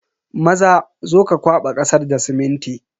Maza, zo ka kwaba kasar da siminti.